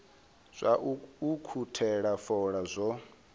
zwa u ukhuthela fola zwo